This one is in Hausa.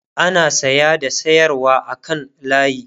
ana saya da sayarwa a kan layi